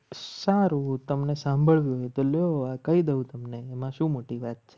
સારું તમને સાંભળવું હોય તો લેવા કહી દઉં તમને એમાં શું મોટી વાત?